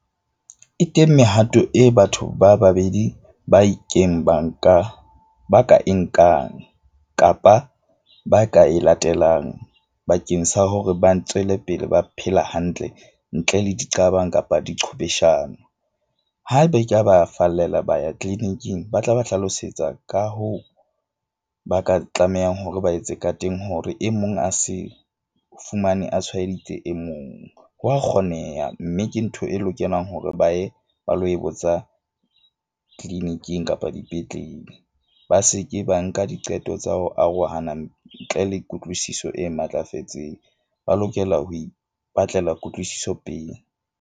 E teng mehato e batho ba babedi ba ba nka ba ka e nkang kapa ba ka e latelang bakeng sa hore ba tswele pele, ba phela hantle ntle le diqabang kapa diqhwebeshano. Ha ebe ke a ba fallela ba ya clinic-ing ba tla ba hlalosetsa, ka hoo, ba ka tlamehang hore ba etse ka teng hore e mong a se fumane a tshwaeditse e mong. Hwa kgoneha mme ke ntho e lokelang hore ba ye ba lo e botsa clinic-ing kapa dipetlele. Ba seke ba nka diqeto tsa ho arohana ntle le kutlwisiso e matlafetseng, ba lokela ho ipatlela kutlwisiso pele.